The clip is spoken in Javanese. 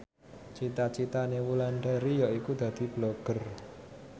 cita citane Wulandari yaiku dadi Blogger